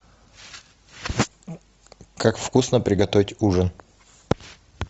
как вкусно приготовить ужин